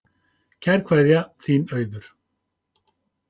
Kær kveðja, þín Auður